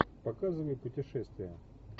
показывай путешествие